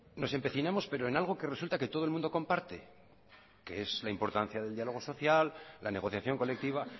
nos empecinamos pero en algo que resulta que todo el mundo comparte que es la importancia del diálogo social la negociación colectiva